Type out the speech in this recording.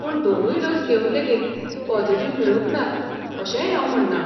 पूण दोनूय डोस घेवन लेगीत पॉजिटिव्ह मेळूंक नात अशेंय हांव म्हणना.